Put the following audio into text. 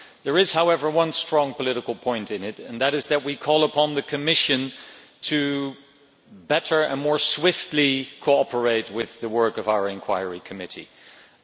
There is, however, one strong political point in it and that is that we call upon the Commission to better and more swiftly cooperate with the work of our committee of inquiry.